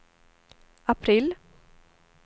april